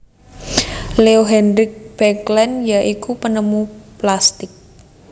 Leo Hendrik Baekeland ya iku penemu plastik